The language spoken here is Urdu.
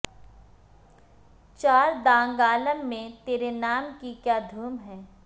چار دانگ عالم میں تیرے نام کی کیا دھوم ہے